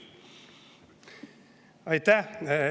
Aitäh!